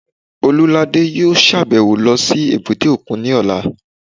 Olúladé yóò sàbẹ̀wo lọ sí èbúté òkun ní ọ̀la